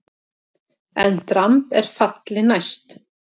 EN DRAMB ER FALLI NÆST!